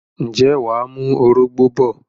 ǹjẹ́ wà á mú orógbó bọ̀?